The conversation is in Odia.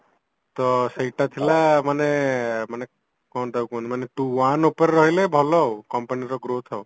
ତ ସେଇଟା ଥିଲା ମାନେ ମାନେ କଣ ତାକୁ କୁହନ୍ତି ମାନେ two one ଉପରେ ରହିଲେ ଭଲ ଆଉ company ର growth ଆଉ